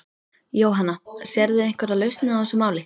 Jóhanna: Sérðu einhverja lausn á þessu máli?